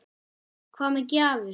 Hvað með gjafir?